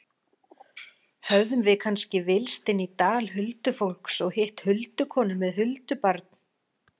Höfðum við kannski villst inn í dal huldufólks og hitt huldukonu með huldubarn?